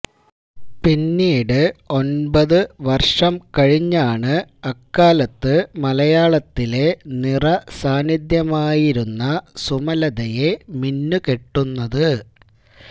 പിന്നീട് ഒൻപത് വർഷം കഴിഞ്ഞാണ് അക്കാലത്ത് മലയാളത്തിലെ നിറസാന്നിധ്യമായിരുന്ന സുമലതയെ മിന്നുകെട്ടുന്നത്